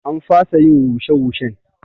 An fasa yin wushe wushen